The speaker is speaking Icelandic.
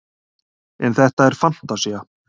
en þetta er fantasía